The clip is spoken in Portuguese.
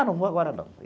Ah, não vou agora não.